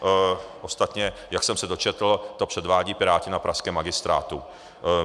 Ostatně, jak jsem se dočetl, to předvádějí Piráti na pražském Magistrátu.